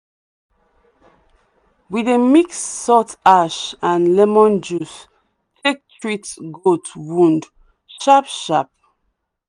we dey mix salt ash and lemon juice take treat goat wound sharp-sharp.